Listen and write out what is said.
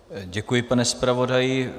Děkuji, pane zpravodaji.